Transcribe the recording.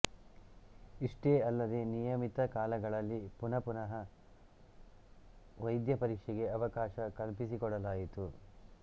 ಇಷ್ಟೇ ಅಲ್ಲದೆ ನಿಯಮಿತ ಕಾಲಗಳಲ್ಲಿ ಪುನಃಪುನಃ ವೈದ್ಯಪರೀಕ್ಷೆಗೆ ಅವಕಾಶ ಕಲ್ಪಿಸಿಕೊಡಲಾಯಿತು